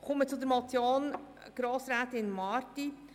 Ich komme zur Motion von Grossrätin Marti.